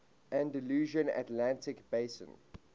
andalusian atlantic basin